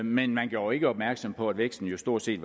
men man gjorde ikke opmærksom på at væksten jo stort set